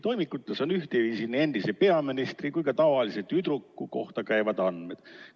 Toimikutes on ühtviisi nii endise peaministri kui ka tavalise tüdruku Katrini kohta käivad andmed.